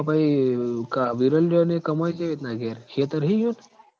તો પહી ક બિરેનયો કમોય કેવી રીતના ઘેર ખેતર હી ઈયોન?